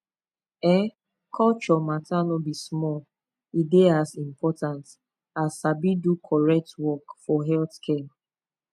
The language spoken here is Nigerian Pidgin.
ehn culture matter no be small e dey as important as sabi do correct work for healthcare